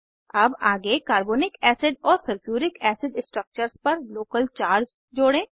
अब आगे carbonic acid और सल्फ्यूरिक एसिड स्ट्रक्चर्स पर लोकल चार्ज जोड़ें